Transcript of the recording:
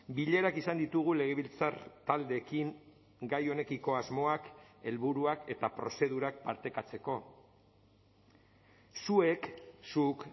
bilerak izan ditugu legebiltzar taldeekin gai honekiko asmoak helburuak eta prozedurak partekatzeko zuek zuk